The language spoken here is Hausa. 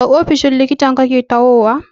Daga ofishin likitan kake tahowa?